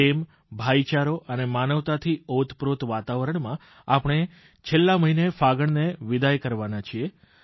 પ્રેમ ભાઇચારો અને માનવતાથી ઓતપ્રોત વાતાવરણમાં આપણે છેલ્લા મહિને ફાગણને વિદાય કરવાના છીએ